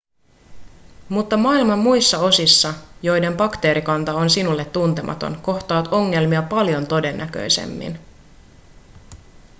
mutta maailman muissa osissa joiden bakteerikanta on sinulle tuntematon kohtaat ongelmia paljon todennäköisemmin